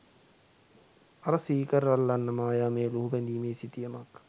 අර සීකර් අල්ලන්න මායාමය ලුහුබැඳිමේ සිතියමක්